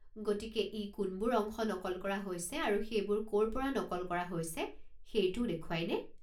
গতিকে ই কোনবোৰ অংশ নকল কৰা হৈছে আৰু সেইবোৰ ক'ৰ পৰা নকল কৰা হৈছে সেইটোও দেখুৱায় নে?